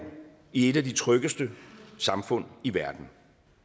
i et af de tryggeste samfund i verden